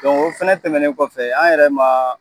Ka ban o fana tɛmɛnen kɔfɛ , an yɛrɛ ma